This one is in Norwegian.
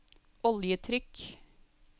oljetrykk